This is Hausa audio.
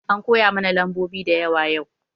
An koyamana lambobi da yawa yau